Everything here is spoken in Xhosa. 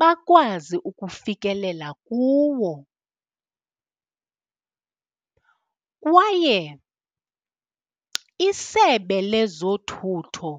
bakwazi ukufikelela kuwo kwaye iSebe leZothutho